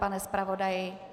Pane zpravodaji?